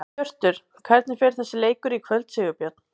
Hjörtur: Hvernig fer þessi leikur í kvöld, Sigurbjörn?